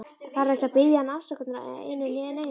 Þarf ekki að biðja hann afsökunar á einu né neinu.